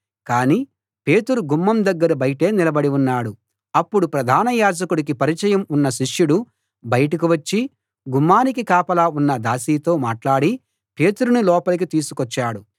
కాని పేతురు గుమ్మం దగ్గర బయటే నిలబడి ఉన్నాడు అప్పుడు ప్రధాన యాజకుడికి పరిచయం ఉన్న శిష్యుడు బయటకు వచ్చి గుమ్మానికి కాపలా ఉన్న దాసీతో మాట్లాడి పేతురును లోపలికి తీసుకొచ్చాడు